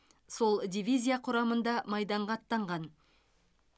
сол дивизия құрамында майданға аттанған